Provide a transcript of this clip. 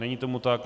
Není tomu tak.